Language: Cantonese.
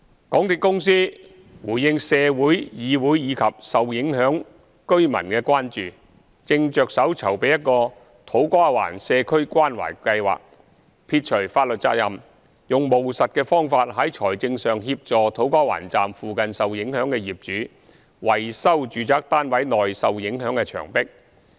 港鐵公司回應社會、議會及受影響居民的關注，正着手籌備一個土瓜灣社區關懷計劃，撇除法律責任，用務實的方法在財政上協助土瓜灣站附近受影響的業主維修住宅單位內受影響的牆壁。